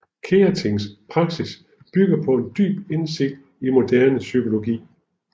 Keatings praksis bygger på en dyb indsigt i moderne psykologi